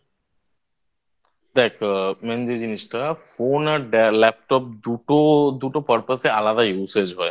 দেখ Main যে জিনিসটা Phone আর Laptop দুটো দুটো Purpose এ আলাদা Usage হয়